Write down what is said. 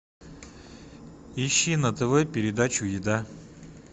ищи на тв передачу еда